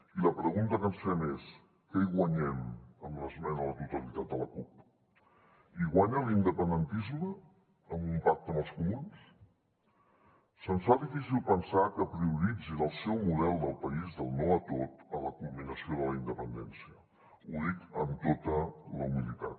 i la pregunta que ens fem és què hi guanyem amb l’esmena a la totalitat de la cup hi guanya l’independentisme amb un pacte amb els comuns se’ns fa difícil pensar que prioritzin el seu model de país del no a tot a la culminació de la independència ho dic amb tota la humilitat